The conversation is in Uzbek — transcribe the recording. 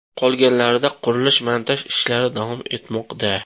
Qolganlarida qurilish-montaj ishlari davom etmoqda.